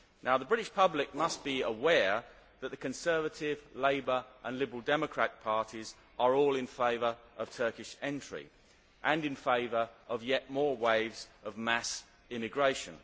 The British public must beware that the Conservative, Labour and Liberal Democratic parties are all in favour of Turkish entry and of yet more waves of mass immigration.